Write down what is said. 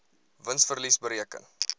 wins verlies bereken